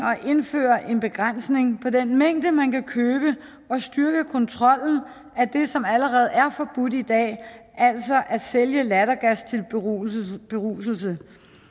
at indføre en begrænsning af den mængde man kan købe og styrke kontrollen af det som allerede er forbudt i dag altså at sælge lattergas til beruselse beruselse